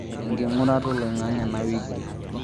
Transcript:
enking'urata olaing'ang'e ena wiki